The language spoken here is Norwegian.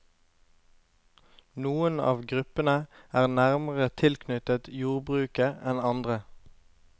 Noen av gruppene er nærmere tilknyttet jordbruket enn andre.